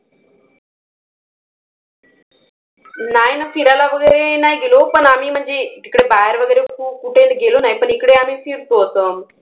नाही ना. फिरायला वगैरे नाही गेलो पण आम्ही म्हणजे तिकडे बाहेर कुठे गेलो नाही. पण इकडे आम्ही फिरतो असं.